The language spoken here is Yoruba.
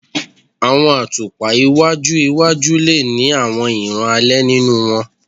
Awọn atupa iwaju iwaju le ni awọn iran alẹ ninu wọn